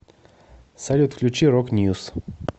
салют включи рок ньюс